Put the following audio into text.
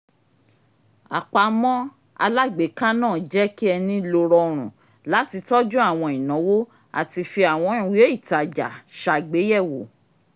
àpamọ́ alágbèéká náà jẹ́ kí ẹni lo rọrùn láti tọ́jú àwọn ináwó àti fi àwọn ìwé ìtajà ṣàgbéyèwọ́